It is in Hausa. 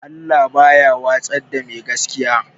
Allah baya watsar da mai gaskiya